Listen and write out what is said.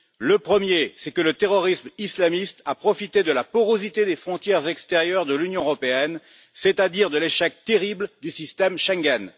Le premier, c'est que le terrorisme islamiste a profité de la porosité des frontières extérieures de l'Union européenne, c'est à dire de l'échec terrible du système Schengen.